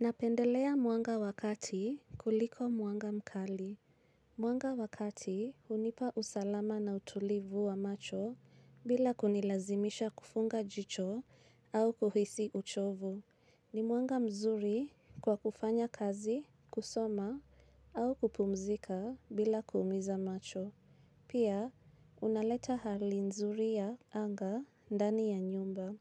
Napendelea mwanga wa kati kuliko mwanga mkali. Mwanga wa kati hunipa usalama na utulivu wa macho bila kunilazimisha kufunga jicho au kuhisi uchovu. Ni mwanga mzuri kwa kufanya kazi, kusoma au kupumzika bila kuumiza macho. Pia, unaleta hali nzuri ya anga ndani ya nyumba.